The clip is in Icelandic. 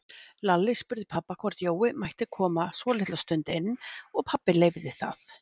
Lalli spurði pabba hvort Jói mætti koma svolitla stund inn og pabbi leyfði það.